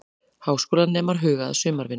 Háskólanemar huga að sumarvinnu